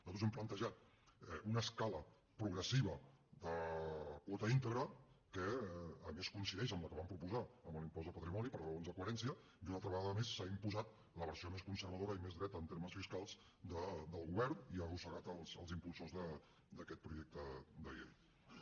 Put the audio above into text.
nosaltres hem plantejat una escala progressiva de quota íntegra que a més coincideix amb la que vam proposar amb l’impost de patrimoni per raons de coherència i una altra vegada més s’ha imposat la versió més conservadora i més dreta en termes fiscals del govern i ha arrossegat els impulsors d’aquest projecte de llei